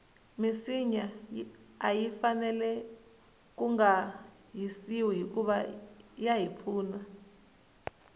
minsinya ayi fanele kunga hisiwi hikuva yahi pfuna